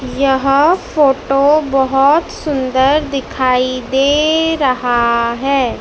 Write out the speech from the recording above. यह फोटो बहोत सुंदर दिखाई दे रहा है।